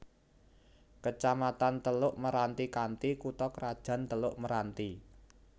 Kecamatan Teluk Meranti kanthi kutha krajan Teluk Meranti